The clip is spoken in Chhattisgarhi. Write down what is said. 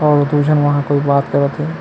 अउ दु झन वहाँ कोई बात करत हे।